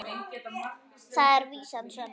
Þar er vísan svona